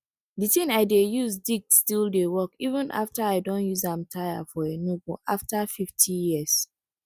di tin i dey use dig still dey work even after i don use am tire for enugu after fifty years